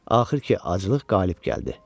Axır ki, aclıq qalib gəldi.